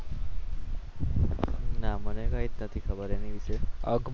મને કંઈ જ ખબર નથી એના વિશે